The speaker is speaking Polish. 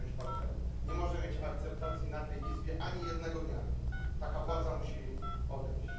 Nie może mieć partnerów, nie może mieć akceptacji w tej Izbie ani jednego dnia. Taka władza musi odejść.